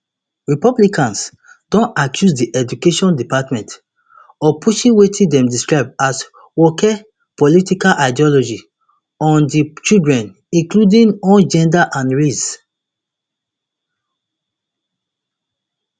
republicans don accuse di education department of pushing wetin dem describe as woke political ideology on to children including on gender and race